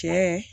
Cɛ